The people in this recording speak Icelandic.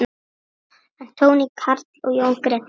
Anthony Karl og Jón Gretar.